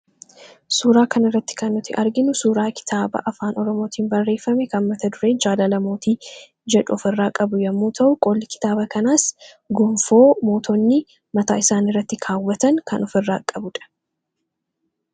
Suuraa kan irratti kan nuti arginu suuraa kitaaba afaan oromootiin barreeffame kan mata duree jaalala mootii jedhu of irraa qabu yommuu ta'u, qolli kitaaba kanaas gonfoo mootonni mataa isaanii irratti kaawwatan kan of irraa qabuudha.